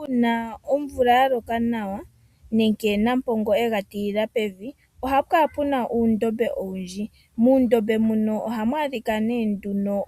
Uuna omvula yaloka nawa nenge nampongo ega tilila pevi. Ohaku kala kuna uudhiya owundji. Muudhiya muka ohamu adhika